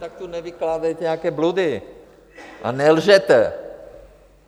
Tak tu nevykládejte nějaké bludy a nelžete.